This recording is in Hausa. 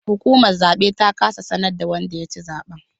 Hukumar zabe ta kasa ta sanar da wanda ya ci zaben